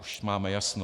Už máme jasno.